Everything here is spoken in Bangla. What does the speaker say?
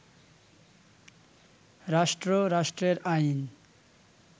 রাষ্ট্র, রাষ্ট্রের আইন